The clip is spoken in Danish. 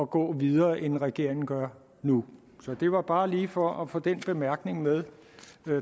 gå videre end regeringen gør nu det var bare lige for at få den bemærkning med